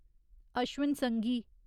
Ashwin Sanghi